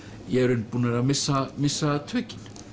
í raun búnir að missa missa tökin